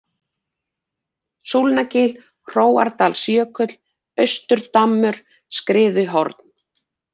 Súlnagil, Hróarsdalsjökull, Austurdammur, Skriðuhorn